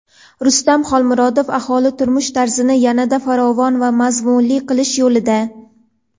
Rustam Xolmurodov: "Aholi turmush-tarzini yanada farovon va mazmunli qilish yo‘lida".